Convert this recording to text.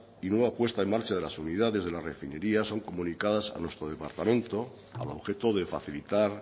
y nueva puesta en marcha de las unidades de las refinerías son comunicadas a nuestro departamento al objeto de facilitar